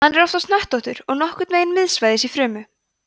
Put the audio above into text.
hann er oftast hnöttóttur og nokkurn veginn miðsvæðis í frumu